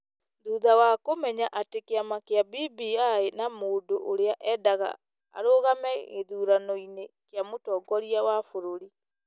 Thutha wa kũmenya atĩ kĩama kĩa BBI na mũndũ ũrĩa endaga arũgame gĩthurano-inĩ kĩa mũtongoria wa bũrũri ,